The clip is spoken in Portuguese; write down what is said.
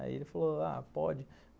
Aí ele falou, ah, pode.